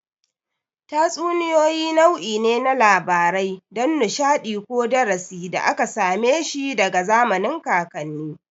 Tatsuniyoyi nau'i ne na labarai don nishadi ko darasi da aka same shi daga zamanin kakanni